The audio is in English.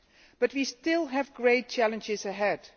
debt. But we still have great challenges ahead.